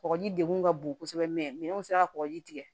Kɔgɔji de kun ka bon kosɛbɛ minɛnw sera kɔkɔji tigɛ